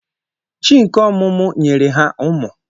Chi nke ọmụmụ nyere ha ụmụ.